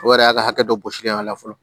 O yɛrɛ y'a ka hakɛ dɔ sigilen ye a la fɔlɔ